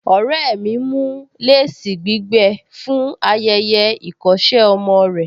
Ọ̀rẹ́ mi ń mú léèsì gbígbẹ fún ayẹyẹ ìkọ́ṣẹ́ ọmọ rẹ̀